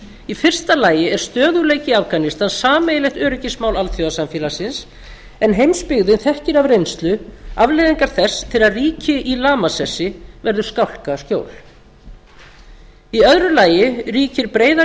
í fyrsta lagi er stöðugleiki í afganistan sameiginlegt öryggismál alþjóðasamfélagsins en heimsbyggðin þekkir af reynslu afleiðingar þess þegar ríki í lamasessi verður skálkaskjól í öðru lagi ríkir breiðari